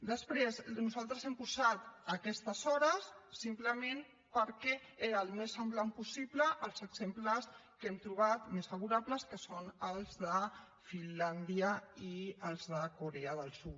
després nosaltres hem posat aquestes hores simplement perquè era el més semblant possible als exemples que hem trobat més favorables que són els de finlàndia i els de corea del sud